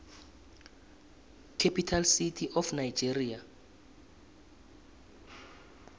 capital city of nigeria